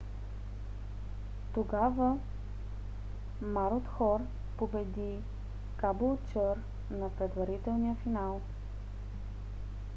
тогава марудхор победи кабулчър на предварителния финал